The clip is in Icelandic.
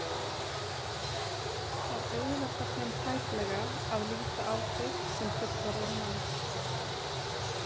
Það auðveldar þeim tæplega að líta á þig sem fullorðinn mann.